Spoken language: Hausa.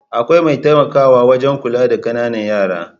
Akwai mai taimakawa wajan kula da ƙanana yara